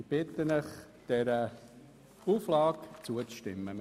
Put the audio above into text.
Ich bitte Sie, dieser Auflage zuzustimmen.